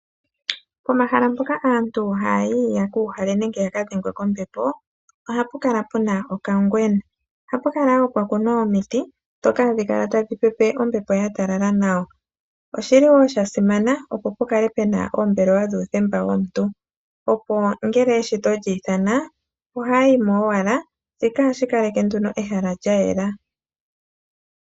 Pomahala mpoka aantu haya yi yeku uhale nenge yakadhengwe kombepo ohapu kala puna okangwena. Ohapu kala wo pwakunwa omiti ndhoka hadhi kala tadhi pepe ombepo yatalala nawa. Oshili wo shasimana opo pukale pena oombelewa dhuuthemba womuntu opo ngele eshito lyiithana ohaya yi mo owala, shika ohashi kaleke nduno ehala lyayela.